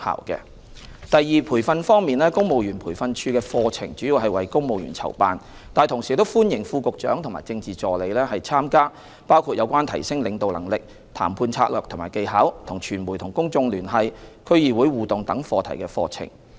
二在培訓方面，公務員培訓處的課程主要為公務員籌辦，但同時歡迎副局長和政治助理參加包括有關提升領導能力、談判策略和技巧、與傳媒及公眾聯繫、區議會互動等課題的課程。